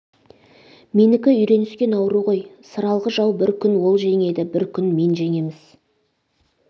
менікі үйреніскен ауру ғой сыралғы жау бір күн ол жеңеді бір күн мен жеңеміз